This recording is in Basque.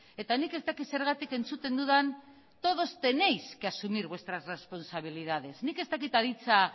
eta nik ez dakit zergatik entzuten dudan todos tenéis que asumir vuestras responsabilidades nik ez dakit aditza